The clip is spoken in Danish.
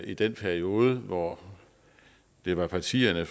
i den periode hvor det var partierne